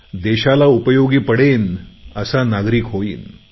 देशाला उपयोगी पडेन असा नागरिक होईन